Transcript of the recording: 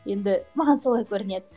енді маған солай көрінеді